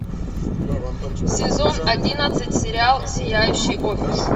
сезон одиннадцать сериал сияющий офис